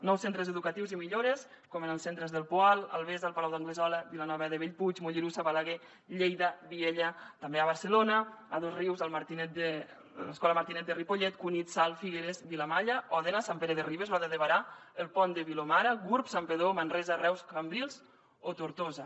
nous centres educatius i millores com en els centres del poal albesa el palau d’anglesola vilanova de bellpuig mollerussa balaguer lleida vielha també a barcelona a dosrius l’escola martinet de ripollet cunit salt figueres vilamalla òdena sant pere de ribes roda de berà el pont de vilomara gurb santpedor manresa reus cambrils o tortosa